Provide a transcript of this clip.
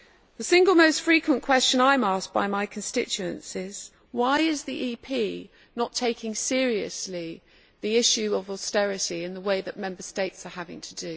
The single most frequent question I am asked by my constituents is Why is the EP not taking seriously the issue of austerity in the way that Member States are having to?